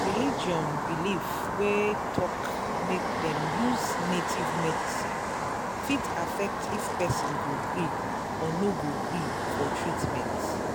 religion belief wey talk make dem use native medicine fit affect if person go gree or no gree for treatment.